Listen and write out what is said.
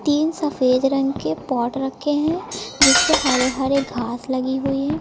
तीन सफेद रंग के पॉट रखे हैं जिस पे हरे हरे घास लगी हुई है।